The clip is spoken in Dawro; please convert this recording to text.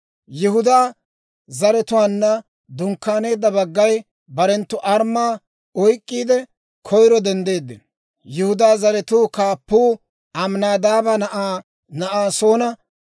Yihudaa zaratuwaanna dunkkaaneedda baggay barenttu armmaa oyk'k'iide koyro denddeeddino. Yihudaa zaratuu kaappuu Aminaadaaba na'aa Na'asoona;